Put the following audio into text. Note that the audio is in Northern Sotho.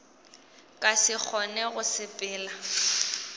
ka se kgone go sepela